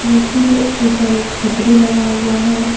मूर्ति के ऊपर एक छतरी लगा हुआ है।